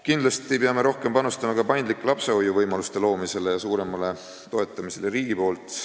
Kindlasti peab riik rohkem panustama ka paindlike lapsehoiuvõimaluste loomisse ja toetamisse.